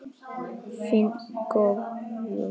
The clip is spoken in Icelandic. Þinn Guðjón.